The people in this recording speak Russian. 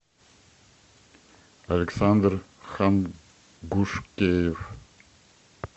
александр хангушкеев